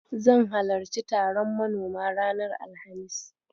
Zan halarci taron manoma ranar Alhamis.